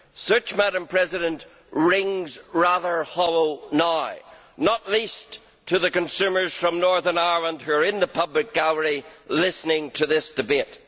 This rings rather hollow now, not least to the consumers from Northern Ireland who are in the public gallery listening to this debate.